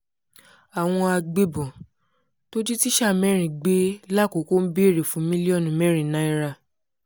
àwọn agbébọ́n tó jí tíṣà mẹ́rin gbé làkoko ń béèrè fún mílíọ̀nù mẹ́rin náírà